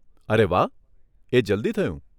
અરે વાહ, એ જલ્દી થયું.